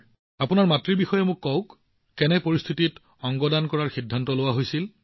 আপোনাৰ মাতৃৰ বিষয়ে আমাক অলপ কওঁক কি পৰিস্থিতিত অংগ দানৰ সিদ্ধান্ত লোৱা হৈছিল